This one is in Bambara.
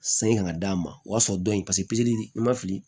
San in ka d'a ma o y'a sɔrɔ dɔ in paseke i ma fili